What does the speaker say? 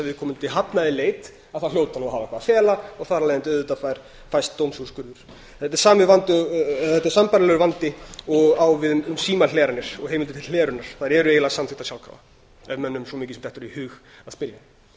viðkomandi hafnaði leit þá hljóti hann að hafa eitthvað að fela og þar af leiðandi auðvitað fæst dómsúrskurður þetta er sambærilegur vandi og á við um símhleranir og heimildir til hlerunar þær eru eiginlega samþykktar sjálfkrafa ef mönnum sem a mikið sem dettur í hug að spyrja